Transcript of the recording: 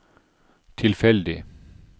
tilfeldig